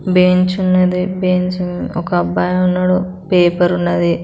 Bench ఉన్నది bench ఒక అబ్బాయి ఉన్నాడు పేపర్ ఉన్నది.